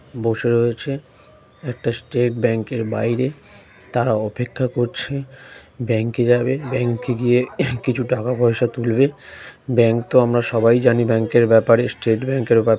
বসে রয়েছে একটা স্টেট ব্যাংকের বাইরে তারা অপেক্ষা করছে ব্যাংকে যাবে ব্যাংকে গিয়ে কিছু টাকা পয়সা তুলবে ব্যাংক তো আমরা সবাই জানি ব্যাংকের ব্যাপারে স্টেট ব্যাংকের ব্যা--